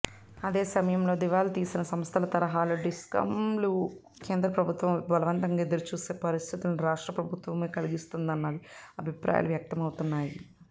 అదే సమయంలో దివాళాతీసిన సంస్థల తరహాలో డిస్కంలు కేంద్రప్రభుత్వంవైపు బలవంతంగా ఎదురుచూసే పరిస్థితుల్ని రాష్ట్రప్రభుత్వమే కల్పిస్తున్నదనే అభిప్రాయాలూ వ్యక్తమవుతున్నాయి